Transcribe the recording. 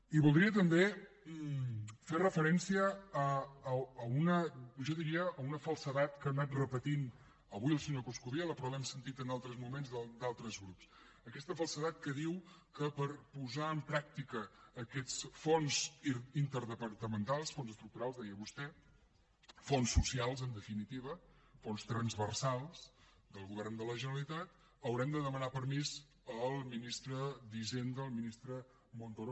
i voldria també fer referència a jo diria una falsedat que ha anat repetint avui el senyor coscubiela però l’hem sentit en altres moments d’altres grups aquesta falsedat que diu que per posar en pràctica aquests fons interdepartamentals fons estructurals deia vostè fons socials en definitiva fons transversals del govern de la generalitat haurem de demanar permís al ministre d’hisenda al ministre montoro